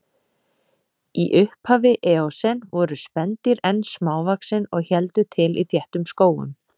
Í upphafi eósen voru spendýr enn smávaxin og héldu til í þéttum skógum.